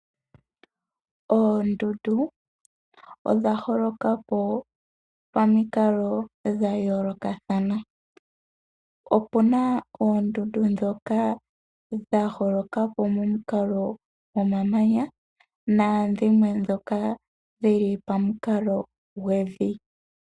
Oondundu odha holoka po pamikalo dha yoolokathana, opuna oondunda ndhoka dha holoka po momukalo gwomamanya nadhimwe ndhoka dhili pamukalo gwevi.